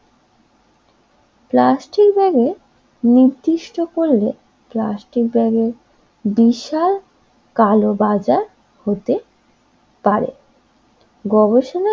plastic ব্যাগের নির্দিষ্ট করলে প্লাস্টিক ব্যাগের বিশাল কালোবাজার হতে পারে গবেষণার,